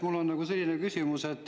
Mul on selline küsimus.